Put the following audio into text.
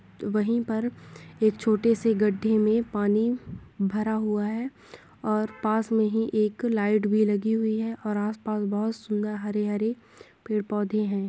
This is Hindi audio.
वही पर एक छोटे से गड्डे में पानी भरा हुआ है और पास में ही एक लाइट भी लगी हुई है और आस-पास बहुत सूंदर हरे हरे पेड़-पौधे है।